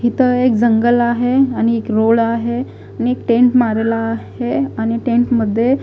हिथं एक जंगल आहे आणि एक रोड आहे आणि एक टेंट मारेला आहे आणि टेंट मध्ये--